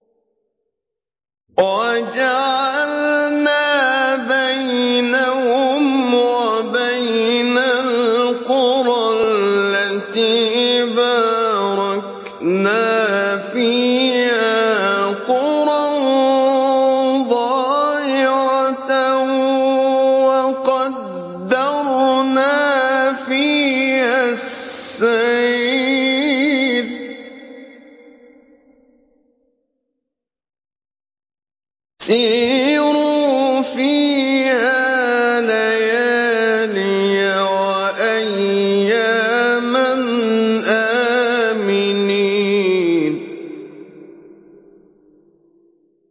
وَجَعَلْنَا بَيْنَهُمْ وَبَيْنَ الْقُرَى الَّتِي بَارَكْنَا فِيهَا قُرًى ظَاهِرَةً وَقَدَّرْنَا فِيهَا السَّيْرَ ۖ سِيرُوا فِيهَا لَيَالِيَ وَأَيَّامًا آمِنِينَ